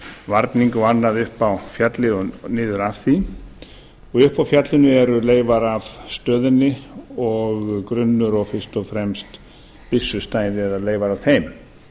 varning og annað upp á fjallið og niður af því uppi á fjallinu eru leifar á stöðunni og grunnur og fyrst og fremst byssustæði eða leifar af þeim